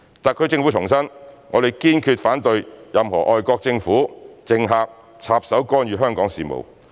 特區政府重申，我們堅決反對任何外國政府、政客插手干預香港事務。